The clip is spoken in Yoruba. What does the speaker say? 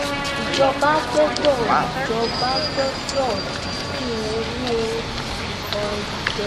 ìjọba gbọ́dọ̀ ìjọba gbọ́dọ̀ dínkù owó ọdẹ